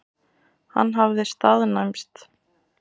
Hann hafði staðnæmst.